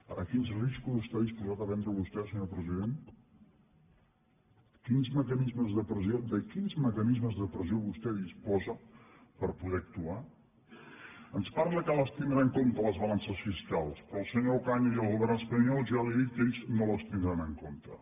ara quins riscos està disposat a prendre vostè senyor president de quins mecanismes de pressió vostè disposa per poder actuar ens parla que les tindrà en compte les balances fiscals però el senyor ocaña i el govern espanyol ja li han dit que ells no les tindran en compte